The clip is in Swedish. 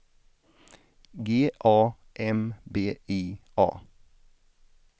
G A M B I A